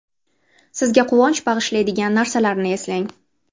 Sizga quvonch bag‘ishlaydigan narsalarni eslang.